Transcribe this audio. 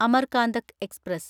Amarkantak express